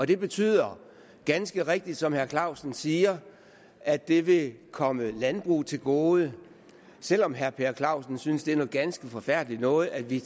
det betyder ganske rigtigt som herre per clausen siger at det vil komme landbruget til gode selv om herre per clausen synes det er noget ganske forfærdeligt noget at vi